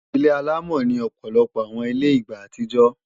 Ilé-àlámọ̀ ni Ọ̀pọ̀lọpọ̀ àwọn ilé ìgbà àtijọ́